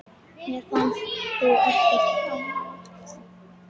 Mér fannst þú ekkert afleit!